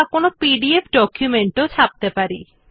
আপনি PDF document টিও ছাপতে পারেন